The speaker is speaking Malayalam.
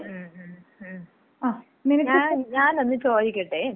ഉം ഉം ഉം. ഞാനൊന്ന് ചോദിക്കട്ടെ?